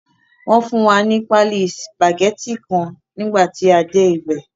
Wọ́n fún wa ní paálí sùpàgẹ́tì kan fún nígbà tí a dé ibẹ̀.